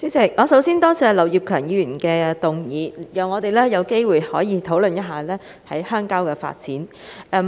主席，首先多謝劉業強議員提出這項議案，讓我們有機會討論鄉郊發展。